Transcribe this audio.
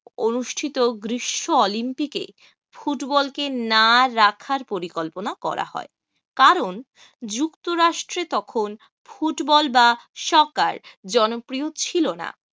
অনুষ্ঠিত গ্রীষ্ম olympic এ ফুটবল কে না রাখার পরিকল্পনা করা হয় কারণ যুক্তরাষ্ট্রে তখন ফুটবল বা সকার জনপ্রিয় ছিল না।